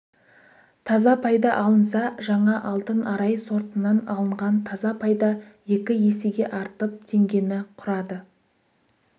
таза пайда алынса жаңа алтын арай сортынан алынған таза пайда екі есеге артып теңгені құрады